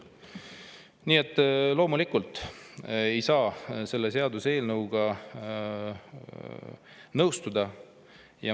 Nii et loomulikult ei saa selle seaduseelnõuga nõustuda.